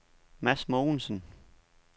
Mads Mogensen